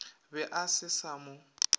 be a se sa mo